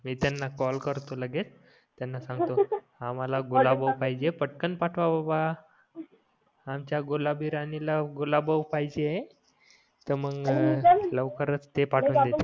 मी त्यांना कॉल करतो लगेच त्यांना सांगतो आमहाला गुलाबो कलर पाहिजे पटकन पाठवा बाबा आमच्या गुलाबी राणी ला गुलाबो पाहिजे तर मंग ते पाठवून देतील